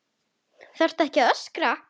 ÞARFTU AÐ ÖSKRA